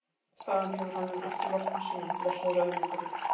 Þaðan hefur hann ekki losnað síðan, blessaður öðlingurinn!